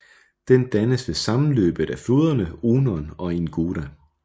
Den dannes ved sammenløbet af floderne Onon og Ingoda